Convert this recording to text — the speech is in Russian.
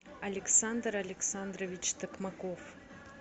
александр александрович токмаков